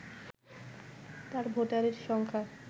তার ভোটারের সংখ্যা